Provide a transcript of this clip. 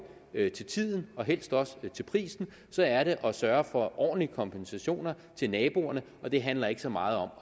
til tiden og helst også til prisen og så er det at sørge for ordentlig kompensation til naboerne og det handler ikke så meget om